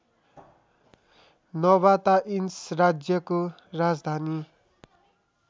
Nabataeans राज्यको राजधानी